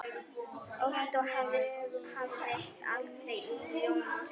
Ottó vafðist aldrei í ljóma.